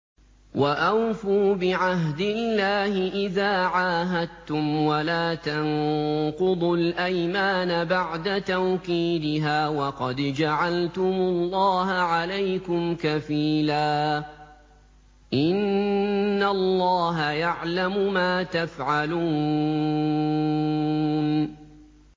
وَأَوْفُوا بِعَهْدِ اللَّهِ إِذَا عَاهَدتُّمْ وَلَا تَنقُضُوا الْأَيْمَانَ بَعْدَ تَوْكِيدِهَا وَقَدْ جَعَلْتُمُ اللَّهَ عَلَيْكُمْ كَفِيلًا ۚ إِنَّ اللَّهَ يَعْلَمُ مَا تَفْعَلُونَ